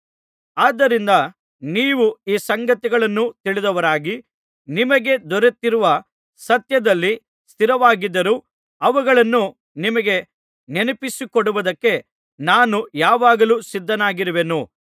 ಆದ್ದರಿಂದ ನೀವು ಈ ಸಂಗತಿಗಳನ್ನು ತಿಳಿದವರಾಗಿ ನಿಮಗೆ ದೊರೆತಿರುವ ಸತ್ಯದಲ್ಲಿ ಸ್ಥಿರವಾಗಿದ್ದರೂ ಅವುಗಳನ್ನು ನಿಮಗೆ ನೆನಪಿಸಿಕೊಡುವುದಕ್ಕೆ ನಾನು ಯಾವಾಗಲೂ ಸಿದ್ಧವಾಗಿರುವೆನು